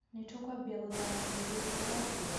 " Nĩ tũkũambia gũthaka hĩndĩ ĩrĩa ya rĩũa?